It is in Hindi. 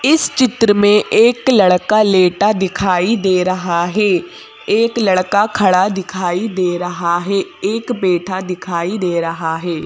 इस चित्र में एक लड़का लेटा दिखाई दे रहा है एक लड़का खड़ा दिखाई दे रहा है एक बैठा दिखाई दे रहा है।